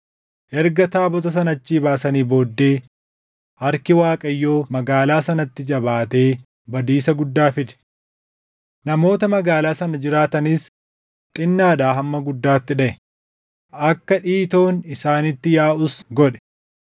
Erga taabota sana achii baasanii booddee harki Waaqayyoo magaalaa sanatti jabaatee badiisa guddaa fide. Namoota magaalaa sana jiraatanis xinnaadhaa hamma guddaatti dhaʼe; akka dhiitoon isaanitti yaaʼus godhe.